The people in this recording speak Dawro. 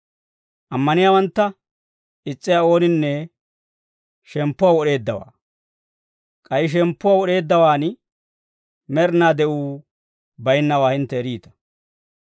Ammaniyaawantta is's'iyaa ooninne shemppuwaa wod'eeddawaa; k'ay shemppuwaa wod'eeddawaan med'inaa de'uu bayinnawaa hintte eriita.